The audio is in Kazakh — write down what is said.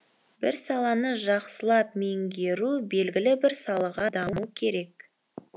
бір саланы жақсылап меңгеру белгілі бір салаға даму керек